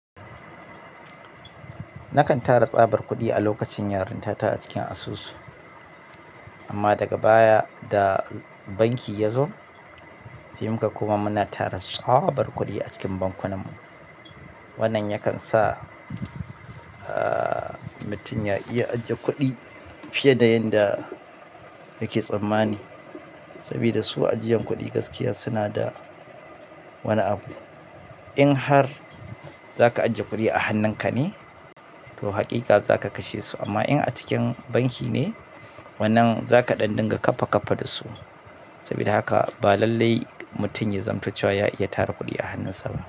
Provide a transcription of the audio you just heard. Nakan tara tsabar kuɗi a lokacin yarinta ta a cikin asusu. Amma daga baya da banki ya zo, sai muka koma muna tara tsabar kuɗi a cikin bankunanmu. Wannan yakan sa, aaah, mutum ya iya ajiye kuɗi fiye da yanda yake tsammani. Sabida su ajiyan kuɗi gaskiya suna da wani abu. In har za ka ajiye kuɗi a hannunka ne, to haƙiƙa za ka kashe su. Amma in a cikin banki ne, wannan za ka ɗan dinga kaffa kaffa da su. Sabida haka ba lallai mutum ya zamto cewa ya iya tara kuɗi a hannunsa ba.